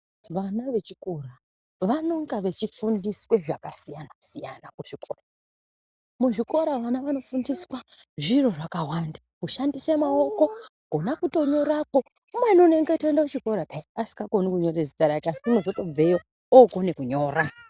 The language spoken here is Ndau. Vana vechikora vanonga vechifundiswa zvakasiyana siyana kuchikora muzvikora vana vanofundiswa zviro zvkawanda kushandise maoko kona kutonyorako umweni unongotoenda peya asikakoni kunyora zita rake asi unozotobveo okone kunyora.